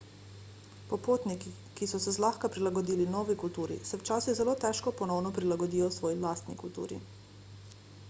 popotniki ki so se zlahka prilagodili novi kulturi se včasih zelo težko ponovno prilagodijo svoji lastni kulturi